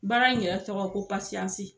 Baara in yɛrɛ tɔgɔ ko pasiyansi.